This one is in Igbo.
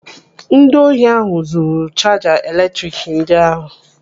Ndị ohi ahụ zuru chaja eletrik ndị ahụ.